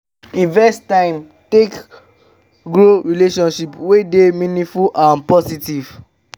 invest time take grow relationship wey dey meaningful and positive